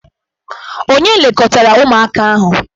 Ònye lekọtara ụmụaka ahụ?